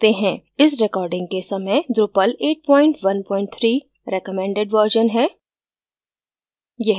इस recording के समय drupal 813 recommended version है